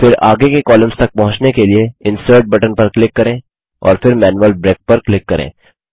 फिर आगे के कॉलम्स तक पहुँचने के लिए इंसर्ट बटन पर क्लिक करें और फिर मैनुअल ब्रेक पर क्लिक करें